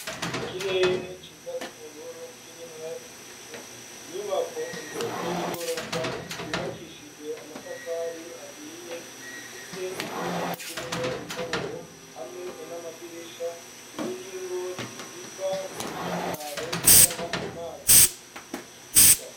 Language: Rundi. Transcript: Ikirere ciza c'ubururu kirimwo ibicu, inyubako ndende y'igorofa yubakishijwe amatafari ahiye ifise impome zirimwo intoboro hamwe n'amadirisha, imiringoti iva k'umusakaro izana amazi mu kigega.